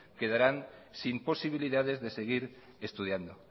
quedarán sin posibilidades de seguir estudiando